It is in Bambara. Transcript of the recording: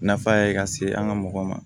Nafa ye ka se an ka mɔgɔw ma